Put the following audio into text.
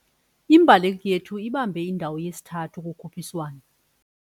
Imbaleki yethu ibambe indawo yesithathu kukhutshiswano.